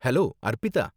hello, Arpita